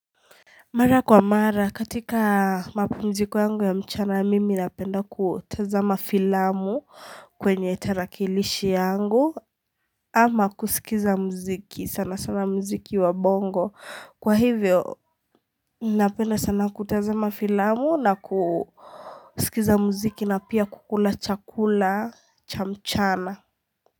Mara kwa mara katika mapumziko yangu ya mchana mimi napenda kutazamafilamu kwenye tarakilishi yangu ama kusikiza mziki sana sana mziki wa bongo kwa hivyo napenda sana kutazamafilamu na kusikiza mziki na pia kukula chakula cha mchana.